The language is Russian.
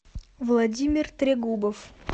владимир трегубов